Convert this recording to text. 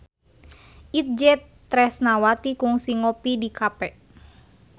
Itje Tresnawati kungsi ngopi di cafe